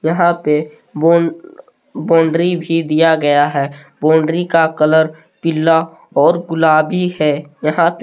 यहां पे bone boundary भी दिया गया है बाउंड्री का कलर पीला और गुलाबी है। यहां पे--